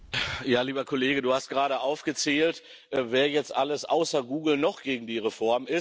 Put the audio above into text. Lieber Kollege, du hast gerade aufgezählt, wer jetzt alles außer Google noch gegen die Reform ist.